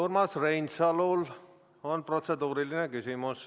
Urmas Reinsalul on protseduuriline küsimus.